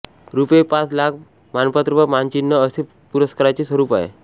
रुपये पाच लाख मानपत्र व मानचिन्ह असे या पुरस्काराचे स्वरूप आहे